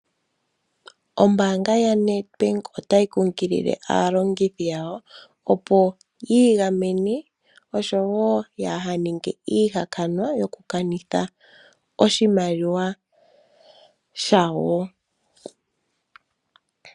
Ombaanga yaNedbank otayi kunkilile aalongithi yawo, opo yi igamene, oshowo ya ha ninge iihakanwa, okukanitha oshimaliwa shawo.